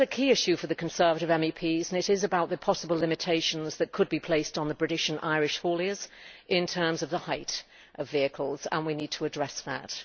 But there is a key issue for the Conservative MEPs about the possible limitations that could be placed on British and Irish hauliers in terms of the height of vehicles, and we need to address that.